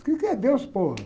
O quê que é Deus?